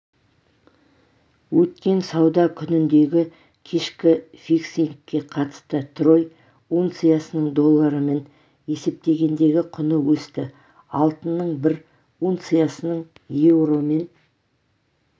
өткен сауда күніндегі кешкі фиксингке қатысты трой унциясының доллармен есептегендегі құны өсті алтынның бір унциясының еуромен